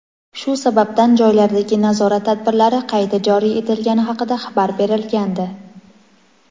shu sababdan joylardagi nazorat tadbirlari qayta joriy etilgani haqida xabar berilgandi.